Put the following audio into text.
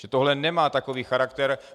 Že tohle nemá takový charakter.